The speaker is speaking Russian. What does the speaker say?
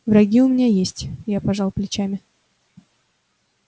враги у меня есть я пожал плечами